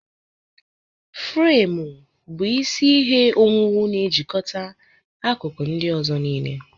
Fremu bụ isi ihe owuwu na-ejikọta akụkụ ndị ọzọ niile.